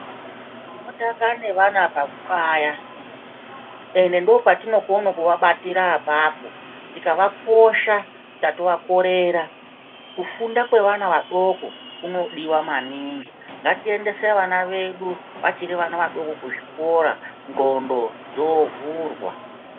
Tinotanga nevana pakukaya ende ndopatinokone kuvabatira ipapo tikavaposha tatovakorera kufunda kwevana vadoko kunodiwa maningi ngatiendese vana vedu vachiri vana vadoko kuzvikora nglondo dzovhurwa.